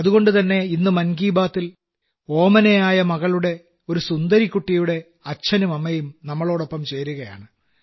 അതുകൊണ്ടുതന്നെ ഇന്ന് മൻ കീ ബാത്തിൽ ഓമനയായ ഒരു മകളുടെ ഒരു സുന്ദരികുട്ടിയുടെ അച്ഛനും അമ്മയും നമ്മോടൊപ്പം ചേരുകയാണ്